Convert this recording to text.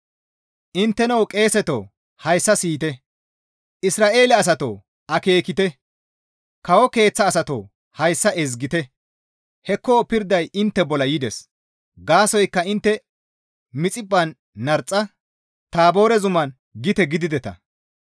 Intteno qeeseto hayssa siyite! Isra7eele asatoo akeekite! Kawo keeththa asatoo hayssa ezgite! Hekko pirday intte bolla yides; Gaasoykka intte Mixiphphan narxa, Taaboore zuman gite gidideta.